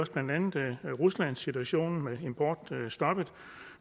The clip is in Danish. ruslandssituationen med importstoppet